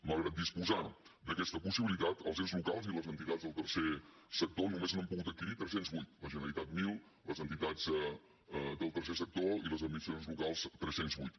malgrat disposar d’aquesta possibilitat els ens locals i les entitats del tercer sector només n’han pogut adquirir tres cents i vuit la generalitat mil les entitats del tercer sector i les administracions locals tres cents i vuit